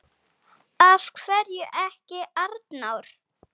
Af hverju ekki Arnór?